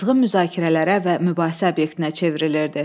qızğın müzakirələrə və mübahisə obyektinə çevrilirdi.